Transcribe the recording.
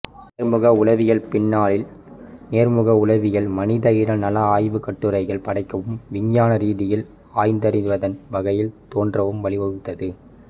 நேர்முக உளவியல்பின்னாளில் நேர்முக உளவியல் மனிதஇன நல ஆய்வுக்கட்டுரைகள் படைக்கவும் விஞ்ஞான ரீதியில் ஆய்ந்தறிவதன் வகைகள் தோன்றவும் வழிவகுத்தது